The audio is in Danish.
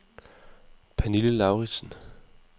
Pernille Lauridsen